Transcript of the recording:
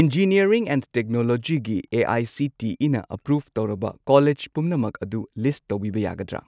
Engineering and technology ꯒꯤ ꯑꯦ.ꯑꯥꯏ.ꯁꯤ.ꯇꯤ.ꯏ.ꯅ approve ꯇꯧꯔꯕ ꯀꯣꯂꯦꯖ ꯄꯨꯝꯅꯃꯛ ꯑꯗꯨ ꯂꯤꯁꯠ ꯇꯧꯕꯤꯕ ꯌꯥꯒꯗ꯭ꯔꯥ?